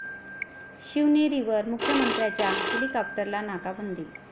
शिवनेरीवर मुख्यमंत्र्यांच्या हेलिकॉप्टरला 'नाकाबंदी'